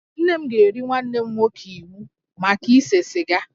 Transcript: Nne m ga-eri nwanne m nwoke iwu maka ise siga